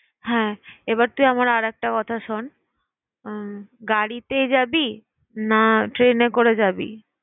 হ্যাঁ এবার তুই আমার আর একটা কথা শোন, উম গাড়িতেই যাবি না train এ করে যাবি?